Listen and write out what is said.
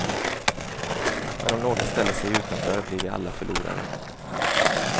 Men om några ställer sig utanför blir vi alla förlorare.